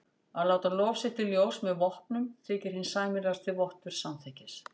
Að láta lof sitt í ljós með vopnum þykir hinn sæmilegasti vottur samþykkis.